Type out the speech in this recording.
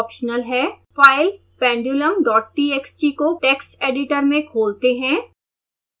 file pendulumtxt को text editor में खोलते हैं